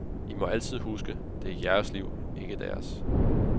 I må altid huske, det er jeres liv, ikke deres.